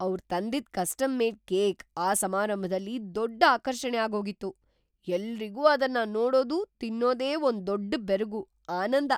ಅವ್ರ್‌ ತಂದಿದ್ custom made cake ಆ ಸಮಾರಂಭದಲ್ಲಿ ದೊಡ್ಡ್ ಆಕರ್ಷಣೆ ಆಗೋಗಿತ್ತು. ಎಲ್ರಿಗೂ ಅದನ್ನ ನೋಡೋದು, ತಿನ್ನೋದೇ ಒಂದ್‌ ದೊಡ್ಡ್‌ ಬೆರಗು, ಆನಂದ.